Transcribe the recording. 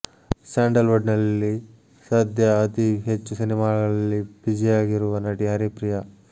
sandal wood ನಲ್ಲಿ ಸದ್ಯ ಅತಿ ಹೆಚ್ಚು ಸಿನಿಮಾಗಳಲ್ಲಿ ಬಿಜಿಯಾಗಿರುವ ನಟಿ ಹರಿಪ್ರಿಯಾ